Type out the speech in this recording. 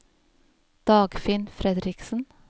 Dagfinn Fredriksen